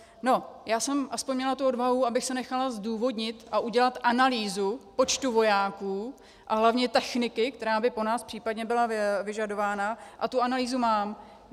No, já jsem aspoň měla tu odvahu, abych si nechala zdůvodnit a udělat analýzu počtu vojáků a hlavně techniky, která by po nás případně byla vyžadována, a tu analýzu mám.